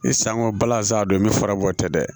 Sanŋa balanzan don ni farabɔ tɛ dɛ